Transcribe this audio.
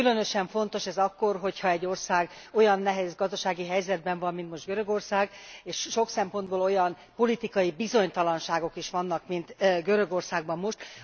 Különösen fontos ez akkor, ha egy ország olyan nehéz gazdasági helyzetben van, mint most Görögország, és sok szempontból olyan politikai bizonytalanságok is vannak, mint Görögországban most.